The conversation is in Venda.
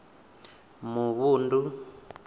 muvhundu